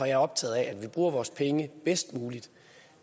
jeg optaget af at vi bruger vores penge bedst muligt